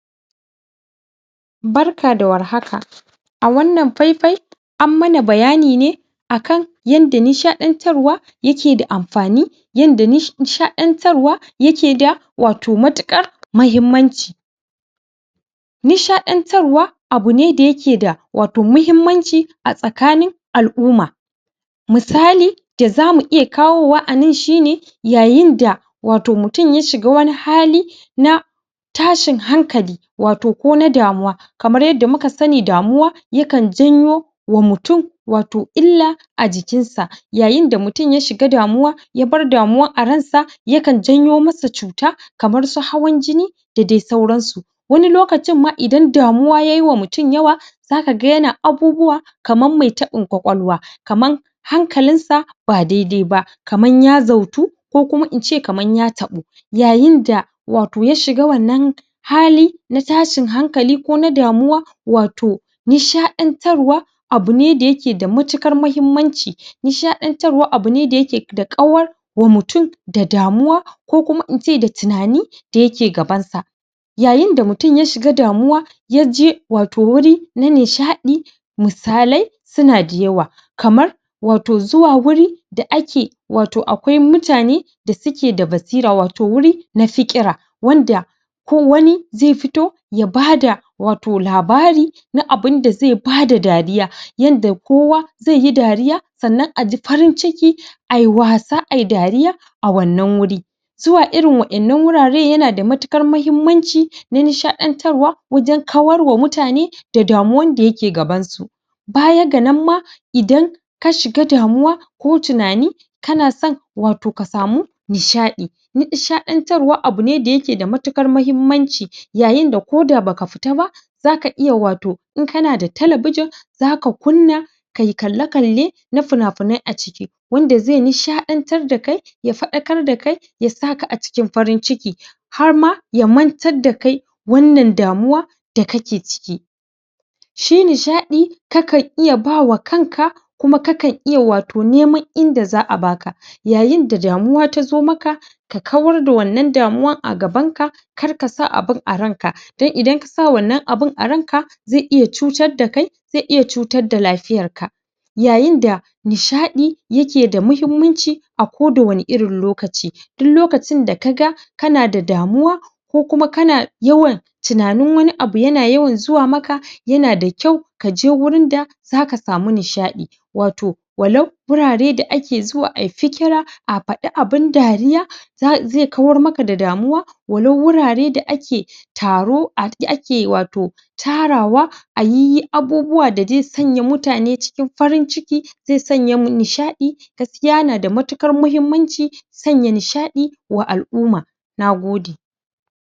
barka da warhaka a wanan fai fai a mana bayyani akan yanda nishadantarwa yake da amfani yanda nishadantarwa yake da wato matukar muhimmanchi nishadantarwa abune dayake da wato muhimmanchi a tsakanin aluma missali da zamu iya kawo wa anan shine yayinda wato mutum ya shiga wani hali na tashin hankali wato ko na damuwa kamar yanda muka sani damuwa yakan janwo wa mutum wato illa a jikin sa yayin da mutum ya shiga damuwa ya bari damuwa a rai sa yakan jenwo musu cutar kamar su hawan jini da daidai sauransu wani lokacin ma indan damuwa yayin ma mutum yawa zaka gan yena abubuwa kamar mai tabin ƙwaƙwalwa kamar hankalin sa ba dai dai ba kama ya bukatan ko kuma ince kama ya tabo yayinda wato ya shiga wanan hali na tashin hankali ko na damuwa wato na shaditariwa abune da yake da mantuƙar muhimmanchi na shadantarwa abune da yake da kawar wa mtum da damuwa ko kuma mutum da tunani yake gabban sa yayin da mtum ya shiga damuwa ya je wuri na nisha yi musalia su na da yauwa kamar wato zuwa wuri aiki wato akwwai mutane da suke da basira wato wuri nafikira wanda ko wannai zai fito ya bada wato labari na abun da bai bada dariya yenda kowa zaiyi dariya sanan aji farinciki ai wasa ayi dariya a wanana wuri zuwa irin waina wurarai yenada matuƙar muhimmanchi na nishadantarwa wajen karowar mutane toh damuwar dayake kaban su bayyan danama idan ka shiga damuwa ko tunani kana san hutu ka samu nisha'i nishadantarwa abune dayake da mutuƙar muhimmanchi yayin da koda baka fitar ba zaka iya wato inka nada television zaka kuna kai yi kalai kalai na fiyna fiyna a ciki wanda zai yi nishadantarwa dake ya fadakar da ke ya zaka a cikin farinciki harma ye mantar dake wanan damuwa da kake ciki shine shadai kaka iya bawa kanka kuma kaka iya wato nema in da za baka yayin dadamuwa taso maka ka kwar da wannan damuwa a gaban ka kar ka sa abun a rai ka tai ina kasa wannan abu a rai ka zai iya cutar da kai zai iya cutar da lafiya ka yayin da nishadi yake da muhimmanchi akwo da wani irin lokachi dick lokacin da ka ga kana da damuwa ko kuma kana yauwa tsanin wani abu yana yauwa zuwa maka yana da kyau kaje wurin da zaka samu nishadi wato wannan wuraria da ake zuwa ata kira a fada abun dariya za iya kura maka da damuwa wannan wurare da ake taro da ake wato tara wa ayi abubuwa da dai sanya mutane cikin farin ciki zai sanye nishadi tafiyar da matukar muhimmanchi sanya nishadi da aluma nagode.-